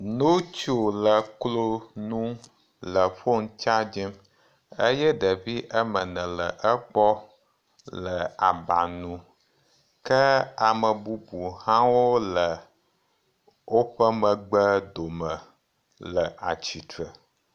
Ŋutsu le kloŋu le fone chargim eye ɖevi woame ene le egbɔ le aba ŋu ke ame bubu hãwo le woƒe megbe dome le atsitre.